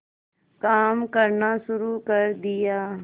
काम करना शुरू कर दिया